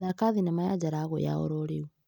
Thaka thinema ya Jalagũ ya ororĩu .